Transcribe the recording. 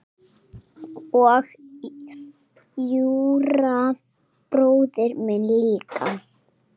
Og Júra bróðir minn líka.